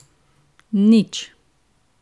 Nič.